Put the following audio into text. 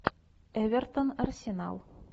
эвертон арсенал